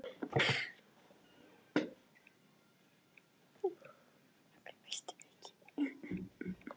Eins og alltaf, að flana ekki að neinu.